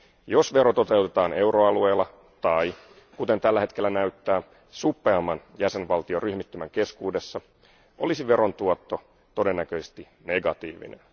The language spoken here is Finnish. Jos vero toteutetaan euroalueella, tai kuten tällä hetkellä näyttää, suppeamman jäsenvaltioryhmittymän keskuudessa, olisi veron tuotto todennäköisesti negatiivinen.